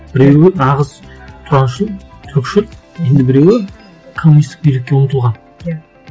біреуі нағыз тұраншыл түркішіл енді біреуі коммунистік билікке ұмтылған иә